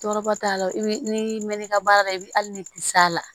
Tɔɔrɔba t'a la i bɛ n'i mɛn'i ka baara la i bɛ hali ni bi s'a la